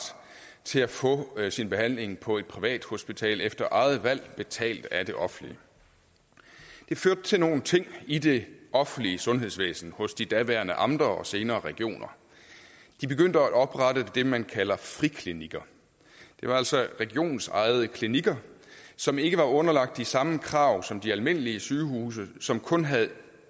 til at få sin behandling på et privat hospital efter eget valg og betalt af det offentlige det førte til nogle ting i det offentlige sundhedsvæsen hos de daværende amter og senere regioner de begyndte at oprette det man kalder friklinikker det var altså regionsejede klinikker som ikke var underlagt de samme krav som de almindelige sygehuse som kun havde